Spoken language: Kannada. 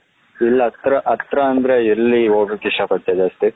ಇಲ್ಲಿ ಹತ್ರ ಹತ್ರ ಅಂದ್ರೆ ಎಲ್ಲಿ ಹೋಗಕ್ಕೆ ಇಷ್ಟಪಡುತ್ತೀಯ ಜಾಸ್ತಿ.